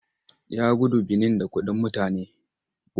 Ya gudu Benin da kuɗin mutane.